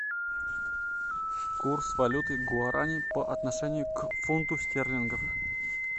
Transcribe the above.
курс валюты гуарани по отношению к фунту стерлингов